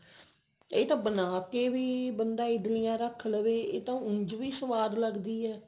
ਇਹ ਤਾਂ ਬਣਾ ਕੇ ਵੀ ਬੰਦਾ ਇਡਲੀਆਂ ਰੱਖ ਲਵੇ ਉਂਝ ਵੀ ਸਵਾਦ ਲੱਗਦੀ ਹੈ